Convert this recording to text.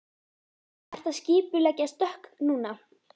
Ertu að skipuleggja stökk núna?